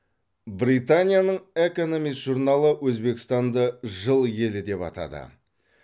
британияның экономис журналы өзбекстанды жыл елі деп атады